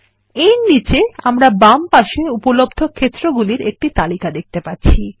এর নীচে আমরা বামপাশে উপলব্ধ ক্ষেত্রগুলির একটি তালিকা দেখতে পাচ্ছি